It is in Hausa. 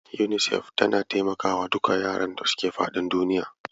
UNICEF tana taimakawa duka yaran da suke faɗin duniya.